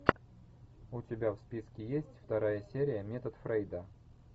у тебя в списке есть вторая серия метод фрейда